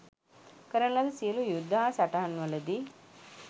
කරන ලද සියලු යුද්ධ හා සටන්වලදී